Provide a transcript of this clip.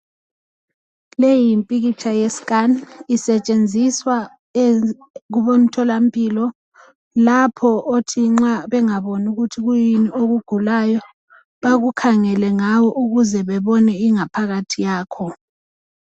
leyi yimpikitsha yesikhani iyenziswa kubonthola mpilo lapho othi nxa bengaboni ukuthi yikuyini okugulayo bakukhangele ngayo baze babone ingaphakathi yakho